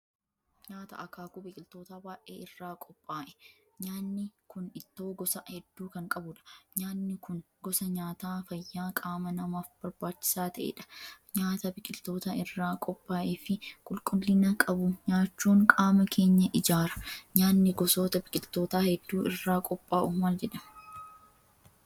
Nyaata akaakuu biqiltootaa baay'ee irraa qophaa'e. Nyaanni kun ittoo gosa hedduu kan qabudha. Nyaanni kun gosa nyaataa fayyaa qaama namaaf barbaachisaa ta'edha. Nyaata biqiltoota irraa qophaa'ee fi qulqullina qabu nyaachuun qaama keenya ijaara. Nyaanni gosoota biqiltootaa hedduu irraa qophaa'u maal jedhama?